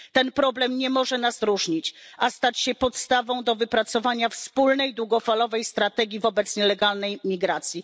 Ten problem nie może nas różnić, a musi stać się podstawą do wypracowania wspólnej długofalowej strategii wobec nielegalnej imigracji.